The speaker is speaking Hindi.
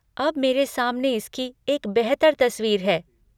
अब मेरे सामने इसकी एक बेहतर तस्वीर है।